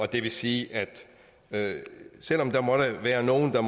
det vil sige at selv om der måtte være nogen der